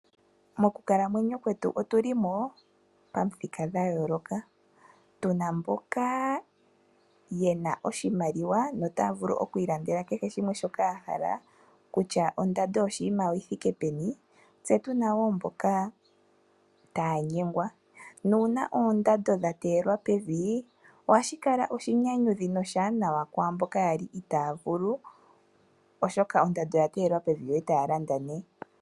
Mokukalamwenyo kwetu otulimo pamuthika dhayooloka, tuna mboka yena oshimaliwa na otaya vulu okwiilandela kehe shimwe shoka yahala kutya ondando yoshinima oyithike peni, tse otuna wo mboka taya nyengwa nuuna oondando dha teyelwa pevi ohashi kala oshinyanyudhi na oshiwanawa kwamboka yali itaya vulu, oshoka ondando oya teyelwa pevi e taya landa ne.